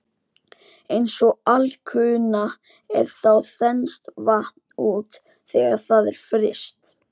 Eins og alkunna er þá þenst vatn út þegar það er fryst.